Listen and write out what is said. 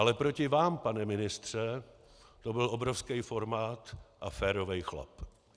Ale proti vám, pane ministře, to byl obrovský formát a férový chlap.